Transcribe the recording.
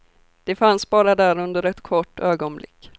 Den fanns bara där under ett kort ögonblick.